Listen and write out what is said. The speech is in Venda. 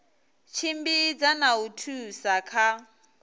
tshimbidza na u thusa kha